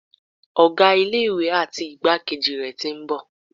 Ọ̀gá ilé ìwé àti igbákejì rẹ̀ tí ń bọ̀.